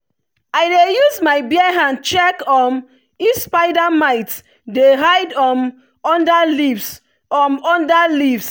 i dey use my bare hand check um if spider mites dey hide um under leaves. um under leaves.